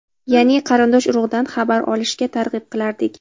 Ya’ni qarindosh-urug‘dan xabar olishga targ‘ib qilardik.